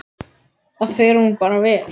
Það fer honum bara vel.